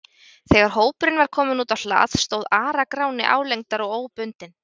Þegar hópurinn var kominn út á hlað stóð Ara-Gráni álengdar, óbundinn.